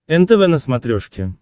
нтв на смотрешке